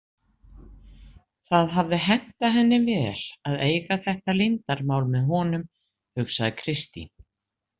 Það hafði hentað henni vel að eiga þetta leyndarmál með honum, hugsaði Kristín.